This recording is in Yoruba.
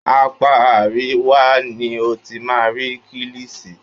Apá àríwá ni o ti máa rí kílìṣi.